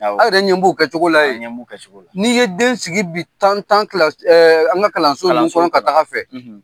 Awɔ. A yɛrɛ ɲɛ b'u kɛcogo la yen. An ɲɛ b'u kɛcogo la. N'i ye den sigi bi tan tan kila an ka kalanso ninnu kɔnɔ ka taa fɛ